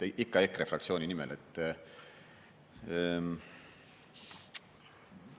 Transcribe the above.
Ikka EKRE fraktsiooni nimel!